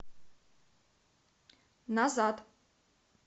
назад